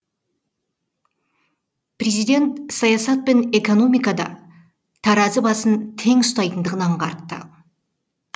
президент саясат пен экономикада таразы басын тең ұстайтынын аңғартты